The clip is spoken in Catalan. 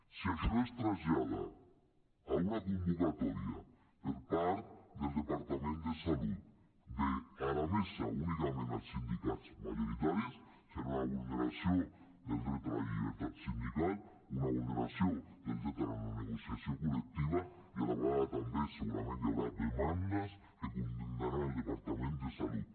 si això es trasllada a una convocatòria per part del departament de salut a la mesa únicament dels sindicats majoritaris serà una vulneració del dret a la llibertat sindical una vulneració del dret a la negociació col·lectiva i a la vegada també segurament hi haurà demandes que condemnaran el departament de salut